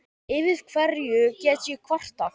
Yfir hverju get ég kvartað?